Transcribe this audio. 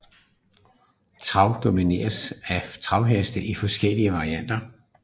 Trav domineres af travheste i forskellige varianter